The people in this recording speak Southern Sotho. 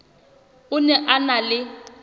o ne a na le